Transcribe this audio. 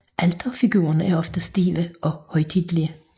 Alterfigurerne er ofte stive og højtidelige